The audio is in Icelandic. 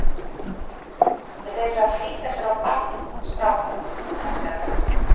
En þeir eru að flýta sér á ballið, strákarnir, bætti hann við.